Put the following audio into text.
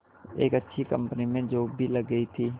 एक अच्छी कंपनी में जॉब भी लग गई थी